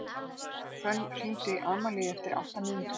Hvönn, hringdu í Amalíu eftir átta mínútur.